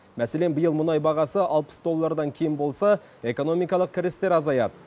мәселен биыл мұнай бағасы алпыс доллардан кем болса экономикалық кірістер азаяды